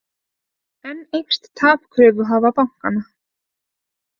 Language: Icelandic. Enn eykst tap kröfuhafa bankanna